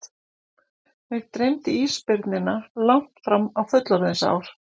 Mig dreymdi ísbirnina langt fram á fullorðinsár.